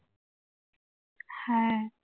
হ্যাঁ